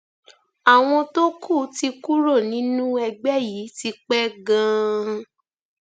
àwọn tó kù ti kúrò nínú ẹgbẹ yìí tipẹ ganan